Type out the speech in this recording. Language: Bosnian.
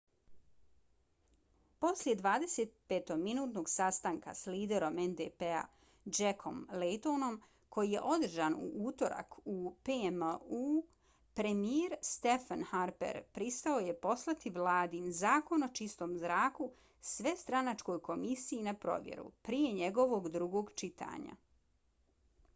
poslije 25-minutnog sastanka s liderom ndp-a jackom laytonom koji je održan u utorak u pmo-u premijer stephen harper pristao je poslati vladin zakon o čistom zraku svestranačkoj komisiji na provjeru prije njegovog drugog čitanja